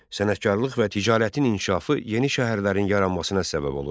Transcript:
Sənətkarlıq və ticarətin inkişafı yeni şəhərlərin yaranmasına səbəb olurdu.